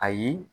Ayi